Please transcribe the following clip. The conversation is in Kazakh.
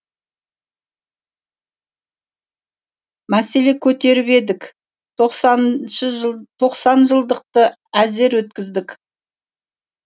мәселе көтеріп едік тоқсан жылдықты әзер өткіздік